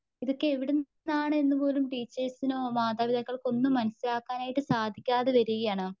ഇതൊക്കെ എവിടുന്നാണെന്ന് പോലും ടീച്ചേഴ്സിനോ മാതാപിതാക്കൾക്കോന്നും മനസിലാക്കുവാനായിട്ട് സാധിക്കാതെ വരികയാണ്.